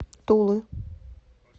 тулы